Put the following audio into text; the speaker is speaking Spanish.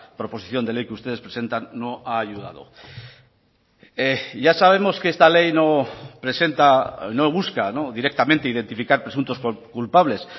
proposición de ley que ustedes presentan no ha ayudado ya sabemos que esta ley no presenta no busca directamente identificar presuntos culpables